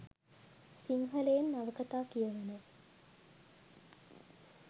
සිංහලයෙන් නවකතා කියවන